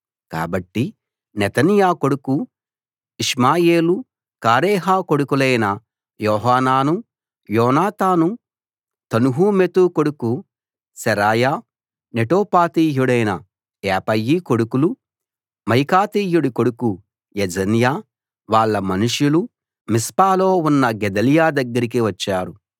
కాబట్టి నెతన్యా కొడుకు ఇష్మాయేలు కారేహ కొడుకులైన యోహానాను యోనాతాను తన్హుమెతు కొడుకు శెరాయా నెటోపాతీయుడైన ఏపయి కొడుకులు మాయకాతీయుడి కొడుకు యెజన్యా వాళ్ళ మనుషులు మిస్పాలో ఉన్న గెదల్యా దగ్గరికి వచ్చారు